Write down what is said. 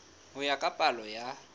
ho ya ka palo ya